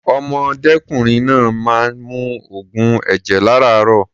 Ọ̀mọdékùnrin náà máa ń mu oògùn ẹ̀jẹ̀ lárààárọ̀.